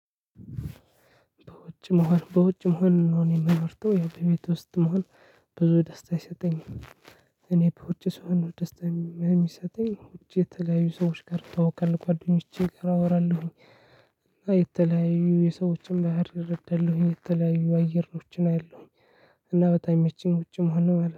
በውጭ መሆን በውጭ መሆን ነው እኔ ምመርጠው በ ቤት ውስጥ መሆን። ብዙ ደስታ አይሰጠኝም እኔ በውጪ ሰው ነው ደስታ የሚሰጠኝ ውጪ የተለያዩ ሰዎች ጋር እተዋወካለሁ ጓደኞቼ ጋ አወራለሁኝ። እና የተለያዩ የሰዎችን ባህር ረዳለሁኝ የተለያዩ አየሮችን አያለሁኝ። እና በጣም ሚመቸኝ ውጪ መሆን ነው ማለት ነው